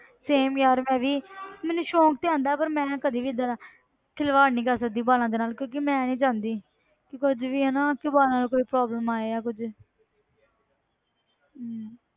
Same ਯਾਰ ਮੈਂ ਵੀ ਮੈਨੂੰ ਸ਼ੌਂਕ ਤੇ ਆਉਂਦਾ ਪਰ ਮੈਂ ਕਦੇ ਵੀ ਏਦਾਂ ਦਾ ਖਿਲਵਾੜ ਨੀ ਕਰ ਸਕਦੀ ਵਾਲਾਂ ਦੇ ਨਾਲ ਕਿਉਂਕਿ ਮੈਂ ਨੀ ਚਾਹੁੰਦੀ ਕਿ ਕੁੱਝ ਵੀ ਹਨਾ ਕਿ ਵਾਲਾਂ ਨੂੰ ਕੋਈ problem ਆਏ ਜਾਂ ਕੁੱਝ।